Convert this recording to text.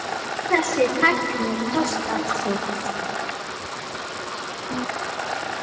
Öll þessi tækni kostar sitt.